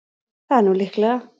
Það er nú líklega.